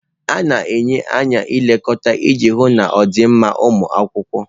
A na-enye nlekọta iji hụ na ọ dị mma ụmụ akwụkwọ